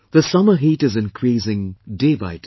The summer heat is increasing day by day